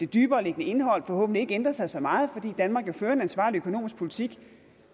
dybereliggende indhold forhåbentlig ikke ændrer sig så meget fordi danmark jo fører en ansvarlig økonomisk politik